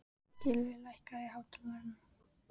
Gylfi, hækkaðu í hátalaranum.